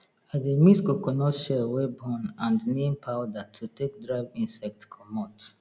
i dey mix coconut shell wey burn and neem powder to take drive insect comot